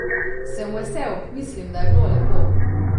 Sem vesel, mislim, da je bilo lepo.